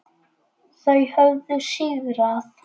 Þau höfðu sigrað.